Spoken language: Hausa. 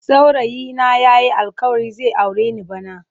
Saurayi na yayi alkawarin zai aure ni bana.